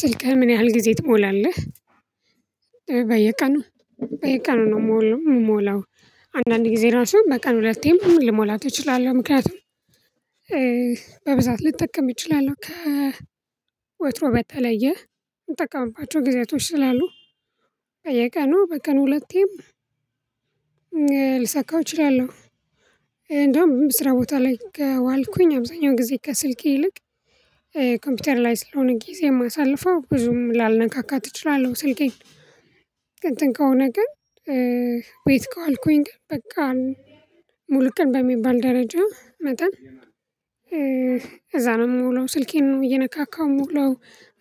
ስልክህ ምን ያህል ጊዜ ትሞላለህ? በየቀኑ በየቀኑ ነው የምሞላው። አንዳንድ ጊዜ ራሱ በቀን ሁለቴም ልሞላት እችላለሁ ምክንያቱም በብዛት ልጠቀም እችላለሁ። ከ ወትሮ በተለየ እንጠቀምባቸው ጊዜያቶች ስላሉ። በየቀኑ በቀን ሁለቴም ልሳካው እችላለሁ። እንደውም በስራ ቦታ ላይ ዋልኩኝ አብዛኛውን ጊዜ ከስልኬ ይልቅ ኮምፒውተር ላይ ስለሆነ ጊዜ የማሳልፈው ብዙም ላልነካካት እችላለሁ ስልኬን። እንትን ከሆነ ግን ቤት ከዋልኩኝ ግን በቃ ሙሉ ቀን በሚባል ደረጃ መጠን። እዛ ነው የምውለው ስልኬን ነው እየነካካው የምውለው